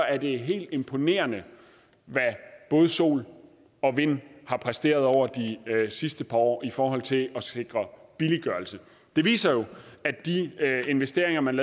at det er helt imponerende hvad både sol og vind har præsteret over de sidste par år i forhold til at sikre billiggørelse det viser jo at de investeringer man